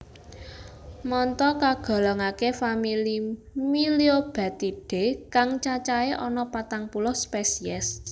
Manta kagolongaké famili Myliobatidae kang cacahé ana patang puluh spesies